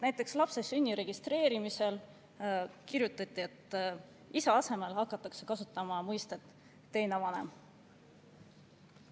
Näiteks lapse sünni registreerimise kohta kirjutati, et "isa" asemel hakatakse kasutama mõistet "teine vanem".